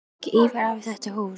Á ekki Ívar afi þetta hús?